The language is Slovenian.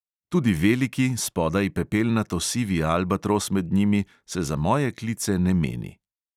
Tudi veliki, spodaj pepelnato sivi albatros med njimi, se za moje klice ne meni.